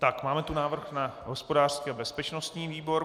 Tak, máme tu návrh na hospodářský a bezpečnostní výbor.